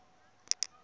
vhumani